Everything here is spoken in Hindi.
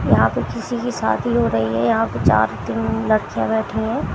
यहां पे किसी की शादी हो रही है यहां पे चार तीन लड़कियां बैठी हैं।